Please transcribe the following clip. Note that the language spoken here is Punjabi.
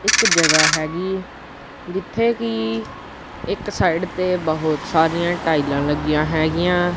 ਇੱਕ ਜਗਾਹ ਹੈਗੀ ਜਿੱਥੇ ਕੀ ਇੱਕ ਸਾਈਡ ਤੇ ਬੋਹੁਤ ਸਾਰੀਆਂ ਟਾਈਲਾਂ ਲੱਗੀਆਂ ਹੈਗੀਆਂ।